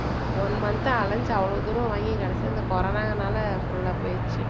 one month ஆ அலைஞ்சு அவ்வளவு தூரம் வாங்கி கடைசியில corona னால full ஆ போயிருச்சு.